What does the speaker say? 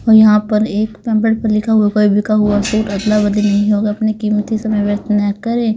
यहां पर एक नंबर पर लिखा हुआ कोई बिका सूट हुआ अदला बदल नहीं होगा अपनी कीमती समय व्यस्त ना करें।